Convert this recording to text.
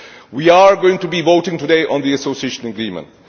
We are going to be voting today on the Association Agreement.